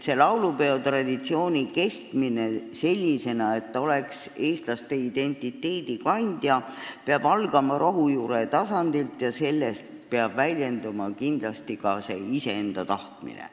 Laulupeo traditsiooni kestmine sellisena, et ta oleks eestlaste identiteedi kandja, peab algama rohujuure tasandilt ja selles peab kindlasti väljenduma ka iseenda tahtmine.